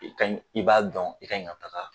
I kaɲi i b'a dɔn i kaɲi ka taga